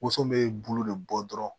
Woson bɛ bulu de bɔ dɔrɔn